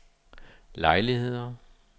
lejligheder